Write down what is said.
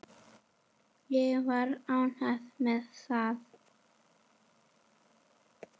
Ég var ánægð með það.